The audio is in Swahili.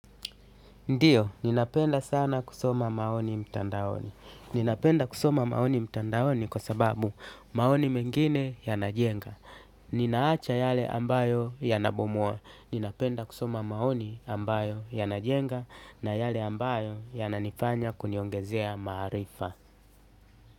Ndiyo, ninapenda sana kusoma maoni mtandaoni. Ninapenda kusoma maoni mtandaoni kwa sababu maoni mengine yanajenga. Ninaacha yale ambayo yanabomoa. Ninapenda kusoma maoni ambayo yanajenga na yale ambayo yananifanya kuniongezea maarifa.